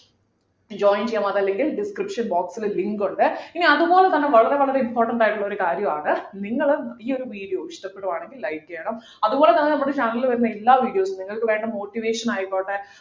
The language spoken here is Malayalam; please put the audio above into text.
join ചെയ്യാം അതല്ലെങ്കിൽ description box ൽ link ഉണ്ട് ഇനി അതുപോലെതന്നെ വളരെ വളരെ important ആയിട്ടുള്ളൊരു കാര്യമാണ് നിങ്ങൾ ഈ ഒരു video ഇഷ്ടപ്പെടുവാണെങ്കില് like ചെയ്യണം അതുപോലെതന്നെ നമ്മുടെ channel ൽ വരുന്ന എല്ലാ videos ഉം നിങ്ങൾക്ക് വേണ്ട motivation ആയിക്കോട്ടെ